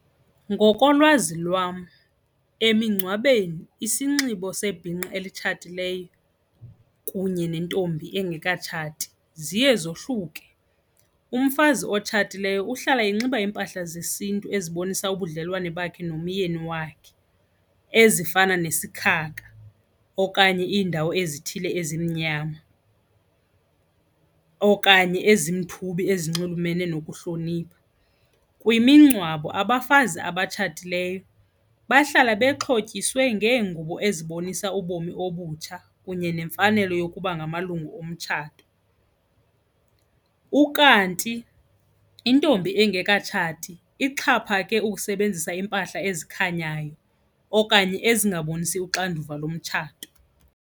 Ngokolwazi lwam emingcwabeni isinxibo sebhinqa elitshatileyo kunye nentombi engekatshati ziye zohluke. Umfazi otshatileyo uhlala inxiba iimpahla zesiNtu ezibonisa ubudlelwane bakhe nomyeni wakhe ezifana nesikhakha okanye iindawo ezithile ezimnyama okanye ezimthubi ezinxulumene nokuhlonipha. Kwimingcwabo abafazi abatshatileyo bahlala bexhotyisiwe ngeengubo ezibonisa ubomi obutsha kunye nemfanelo yokuba ngamalungu omtshato ukanti intombi engekatshati ixhaphake ukusebenzisa iimpahla ezikhanyayo okanye ezingabonisi uxanduva lomtshato.